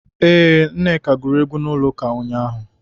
Ee, Nneka gụrụ egwu n'ụlọụka ụnyaahụ.